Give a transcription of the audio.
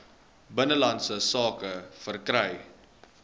binnelandse sake verkry